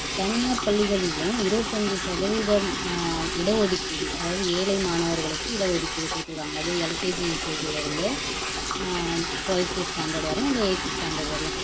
தனியார் பள்ளிகளிலும் இருபத்து ஐந்து சதவீதம் அஹ் இடஒதுக்கீடு அதாவது ஏழை மாணவர்களுக்கு இட ஒதுக்கீடு குடுத்துருக்காங்க அதும் L. K. G, U. K. ஜி-ல இருந்து ட்வெல்த் ஸ்டாண்டர்ட் வரையும் இல்லை எய்த் ஸ்டாண்டர்ட் வரையும் அது எதோ